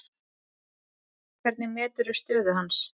Hvernig meturðu stöðu hans?